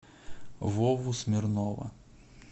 вову смирнова